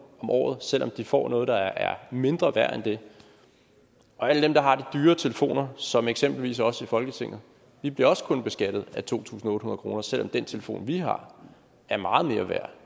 om året selv om de får noget der er mindre værd end det alle dem der har de dyre telefoner som eksempelvis os i folketinget bliver også kun beskattet af to tusind otte om året selv om den telefon vi har er meget mere værd